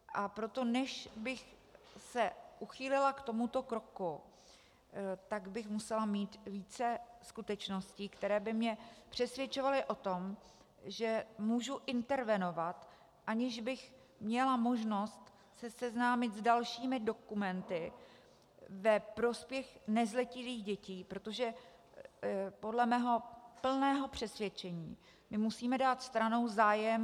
A proto než bych se uchýlila k tomuto kroku, tak bych musela mít více skutečností, které by mě přesvědčovaly o tom, že můžu intervenovat, aniž bych měla možnost se seznámit s dalšími dokumenty ve prospěch nezletilých dětí, protože podle mého plného přesvědčení my musíme dát stranou zájem...